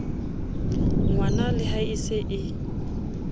ngwanale ha e se e